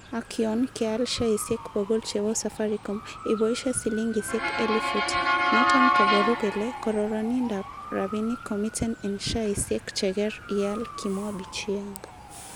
Ak yon keal sheaisiek bogol chebo Safaricom iboishe silingisiek elifut, noton koboru kele kororonindab rabinik komiten en sheaisiek cheker ial, Kimwa Bichianga